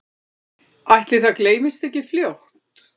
Ætli það gleymist ekki fljótt